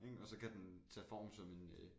Ik og så kan den tage form som en øh